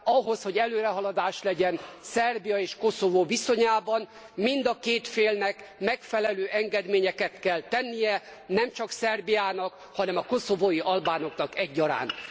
Ahhoz, hogy előrehaladás legyen Szerbia és Koszovó viszonyában, mind a két félnek megfelelő engedményeket kell tennie, nem csak Szerbiának, hanem a koszovói albánoknak egyaránt.